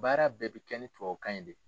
Baara bɛɛ bi kɛ ni tubakan ye de.